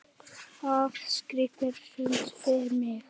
Það skipti sköpum fyrir mig.